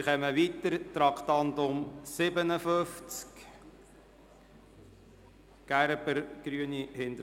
Wir gehen weiter zu Traktandum 57, der Motion Gerber: